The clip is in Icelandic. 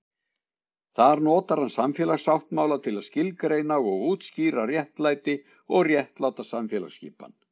Þar notar hann samfélagssáttmála til að skilgreina og útskýra réttlæti og réttláta samfélagsskipan.